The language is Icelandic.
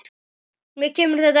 Mér kemur þetta ekkert við.